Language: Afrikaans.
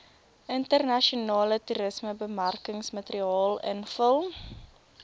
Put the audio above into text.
internasionale toerismebemarkingsmateriaal invul